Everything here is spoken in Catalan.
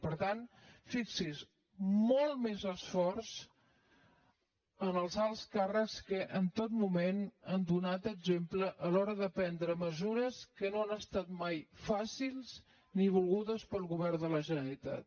per tant fixi’s molt més esforç en els alts càrrecs els quals en tot moment han donat exemple a l’hora de prendre mesures que no han estat mai fàcils ni volgudes pel govern de la generalitat